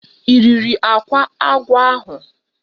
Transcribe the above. I riri akwa agwọ ahu?